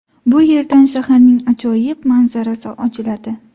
Bu yerdan shaharning ajoyib manzarasi ochiladi.